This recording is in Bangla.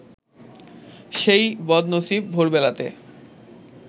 সেই বদনসিব ভোরবেলাতে